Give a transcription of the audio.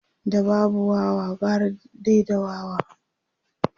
da babu Wawa gara dai da wawa